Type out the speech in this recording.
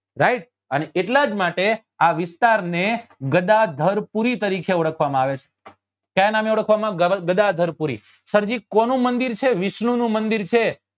Right અને એટલા જ માટે આ વિસ્તાર ને ગદાધાર્પુરી તરીકે ઓળખવા માં આવે છે કયા નામે ઓળખવા માં ગદાધાર્પુરી સર જી કોનું મંદિર છે વિષ્ણુ નું મંદિર છે